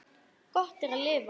Gott er að lifa.